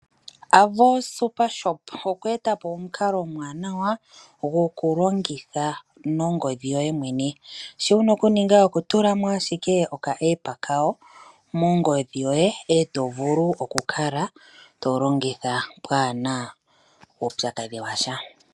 Avo SuperShop okwe eta po omukalo omwaanawa gokulongitha nongodhi yoye mwene. Shoka wu na okuninga okutula mo ashike epandja lyawo lyopaungomba mongodhi yoye e to vulu okukala to longitha pwaa na uupyakadhi wa sha.